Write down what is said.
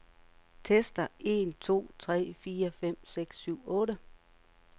Tester en to tre fire fem seks syv otte.